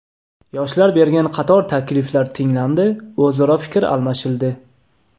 Yoshlar bergan qator takliflar tinglandi, o‘zaro fikr almashildi.